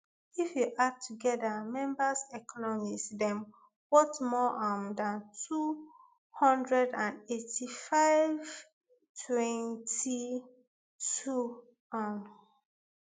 if you add together members economies dem worth more um dan two hundred and eighty-fivetn twenty-twotn um